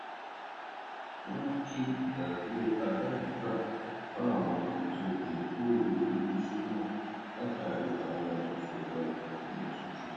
wọn mu ki idaduro alainigba ba awọn ètò ìmúgbòrò iléiṣẹ náà látàrí owó ìṣẹdá ọjà tó n lọ sókè